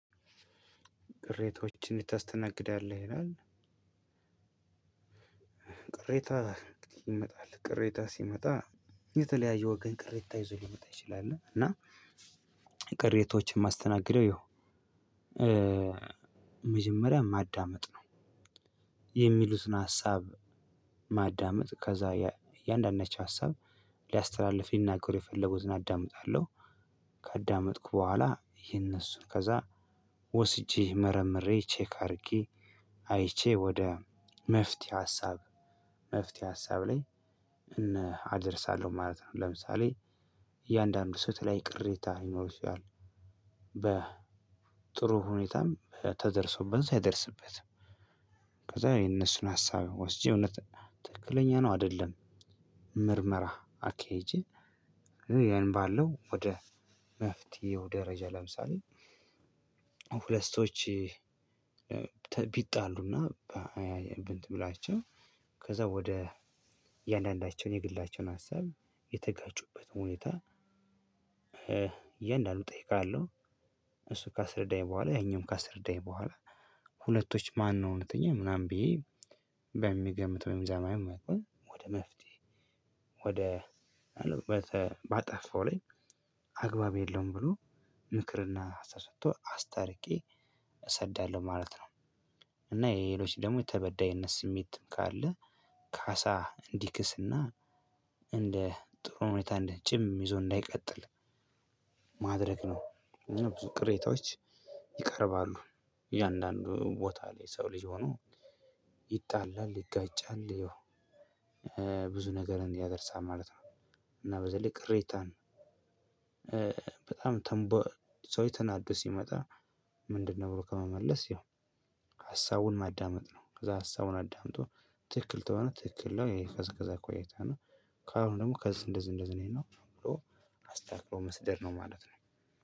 ቅሬታዎችን ይታስተናግዳለህ? ይላል ቅሬታ ይመጣል ቅሬታ ሲመጣ የተለያየ ወገን ቅሬታ ይዞ ሊመጣ ይችላል። እና ቅሬታዎችን ማስተናገደው ይኸው እ እ መጀመሪያ ማዳመጥ ነው። የሚሉትን ሀሳብ ማዳመጥ ከዛ እያንዳንዳቸው ሀሳብ ሊያስተላልፍ ሊናገሩ የፈለጉትን አዳምጣለሁ ካዳመጥኩ በኋላ የነሱን ከዛ ወስጄ መረምሬ ቼክ አድርጊ አይቼ ወደ መፍትሄ ሀሳብ መፍትሄ ሀሳብ ላይ እና አደርሳለሁ ማለት ነው። ለምሳሌ እያንዳንዱ ሰው የተለይ ቅሬታ ይችላል። በ ጥሩ ሁኔታም ተደርሶበት ሳይደርስበት ከዛ የነሱን ሀሳብ ወስጄ እውነት ትክክለኛ ነው አይደለም ምርመራ አካሂጂ። ያን ባለው ወደ መፍትሄው ደረጃ ለምሳሌ ሁለት ሰዎች እ ቢጣሉና ብ እንትን ብላቸው ከዛ ወደ እያንዳንዳቸውን የግላቸውን ሀሳብ የተጋጩበት ሁኔታ በ እያንዳንዱ እጠይቃለሁ እሱ ካስረዳኝ በኋላ ያኛውን ካስረዳኝ በኋላ ሁለቶች ማነው እውነተኛ ምናምን ብዬ በሚገምተው የሚዛማው መቆየት ወደ መፍትሄ ወደ በጠ ባጠፋው ላይ አግባብ የለውም ብሎ ምክርና ተሰጥቶ አስታርቄ እሰዳለሁ ማለት ነው። እና የሌሎች ደግሞ የተበዳይነት ስሜትም ካለ ካሳ እንዲክስና እንደ ጥሩ ሁኔታ እንዲህ ጭም ይዞ እንዳይቀጥል ማድረግ ነው። ብዙ ቅሬታዎች ይቀርባሉ እያንዳንዱ ቦታ ላይ ሰው ልጅ ሆኖ ይጣላል ይጋጫል ያው እ ብዙ ነገርን ያደርሳል ማለት ነው። እና በዚህ ልክ ሬታን እ በጣም ተንቦ ሰው ተናዶ ሲመጣ ምንድነው? ብሎ ከመመለስ ያው ሀሳቡን ማዳመጥ ነው። ከዛ ሀሳቡን አዳምጦ ትክክል ተሆነ ትክክል ለው ይሄ ከዛ ከዛ ቆይታ ነው። ካሁን ደግሞ ከዚህ እንደዚህ እንደዚህ ነው ብሎ አስተካክሎ መስደድ ነው ማለት ነው።